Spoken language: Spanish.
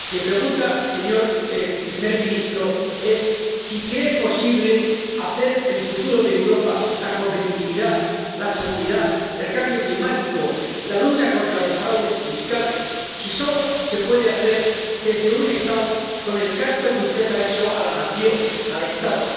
Mi pregunta, señor primer ministro, es si cree que el futuro de Europa —la competitividad, la seguridad, el cambio climático, la lucha contra los fraudes fiscales-solo se puede hacer desde un Estado, con ese canto que usted ha hecho a la nación, al Estado